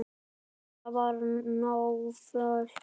Kata var náföl.